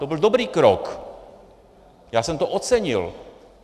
To byl dobrý krok, já jsem to ocenil.